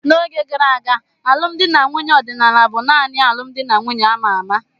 N'oge gara aga, alụmdi na nwunye ọdịnala bụ nanị alụmdi na nwunye a ma ama.